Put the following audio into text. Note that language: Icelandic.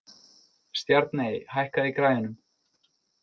Stjarney, hækkaðu í græjunum.